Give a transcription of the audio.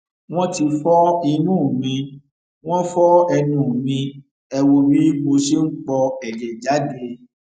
wọn ti fọ imú mi wọn fọ ẹnu mi ẹ wò bí mo ṣe ń po ẹjẹ jáde